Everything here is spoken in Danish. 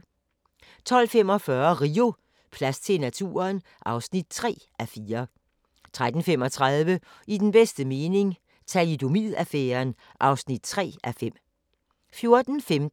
12:45: Rio: Plads til naturen? (3:4) 13:35: I den bedste mening – Thalidomid-affæren (3:5) 14:15: